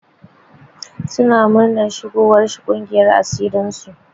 Suna muranar shigowar shi ƙungiyar asirin su.